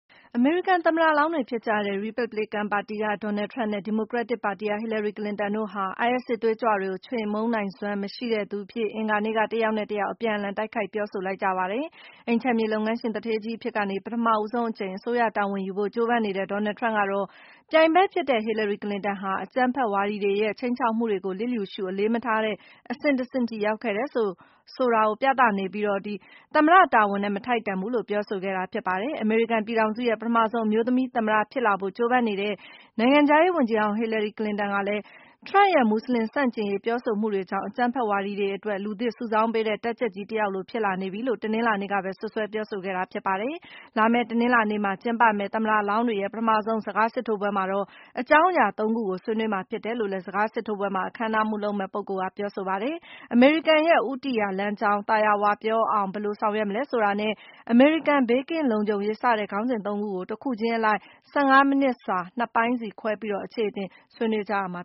အမေရိကန်သမ္မတလောင်းတွေဖြစ်ကြတဲ့ ရီပတ်ဘလစ်ကန်ပါတီက Donald Trump နဲ့ ဒီမိုကရက်တစ်ပါတီက Hillary Clinton တို့ဟာ IS စစ်သွေးကြွတွေကို ချေမှုန်းနိုင်စွမ်း မရှိတဲ့သူအဖြစ် အင်္ဂါနေ့က တယောက်နဲ့တယောက် အပြန်အလှန် တိုက်ခိုက် ပြောဆိုလိုက်ကြပါတယ်။ အိမ်ခြံမြေလုပ်ငန်းရှင် သူဌေးကြီးအဖြစ်ကနေ ပထမဆုံးအကြိမ် အစိုးရတာဝန်ယူဖို့ ကြိုးပမ်းနေတဲ့ Donald Trump ကတော့ - ပြိုင်ဘက်ဖြစ်တဲ့ Hillary Clinton ဟာ အကြမ်းဖက်ဝါဒီတွေရဲ့ ခြိမ်းခြောက်မှုတွေကို လျစ်လျူရှု အလေးမထားတဲ့ အဆင့်တဆင့်အထိ ရောက်ခဲ့တယ်ဆိုတာကို ပြသနေပြီး - သမ္မတတာဝန်နဲ့ မထိုက်တန်ဘူးလို့ ပြောဆိုခဲ့တာ ဖြစ်ပါတယ်။ အမေရိကန်ပြည်ထောင်စုရဲ့ ပထမဆုံး အမျိုးသမီးသမ္မတဖြစ်လာဖို့ ကြိုးပမ်းနေတဲ့ နိုင်ငံခြားရေးဝန်ကြီးဟောင်း Hillary Clinton ကတော့ - Trump ရဲ့ မူဆလင်ဆန့်ကျင်ရေးပြောဆိုမှုတွေကြောင့် အကြမ်းဖက်ဝါဒီတွေအတွက် လူသစ်စုဆောင်းပေးတဲ့ တပ်ကြပ်ကြီးတယောက်လို ဖြစ်လာနေပြီလို့ တနင်္လာနေ့ကပဲ စွပ်စွဲပြောဆိုခဲ့တာ ဖြစ်ပါတယ်။ လာမယ့် တနင်္လာနေ့မှာ ကျင်းပမယ့် သမ္မတလောင်းတွေရဲ့ ပထမဆုံး စကားစစ်ထိုးပွဲမှာတော့ - အကြောင်းအရာ ၃ ခုကို ဆွေးနွေးမှာဖြစ်တယ် လို့လည်း စကားစစ်ထိုးပွဲမှာ အခမ်းအနားမှူးလုပ်မယ့် ပုဂ္ဂိုလ်က ပြောဆိုလိုက်ပါတယ်။ အမေရိကန်ရဲ့ ဦးတည်ရာလမ်းကြောင်း၊ သာယာဝပြောအောင် ဘယ်လိုဆောင်ရွက်မလဲ ဆိုတာနဲ့ အမေရိကန်ဘေးကင်းလုံခြုံရေး စတဲ့ ခေါင်းစဉ် ၃ ခုကို တခုချင်းအလိုက် ၁၅ မိနစ်စာ နှစ်ပိုင်းစီခွဲပြီး အခြေအတင် ဆွေးနွေးကြရမှ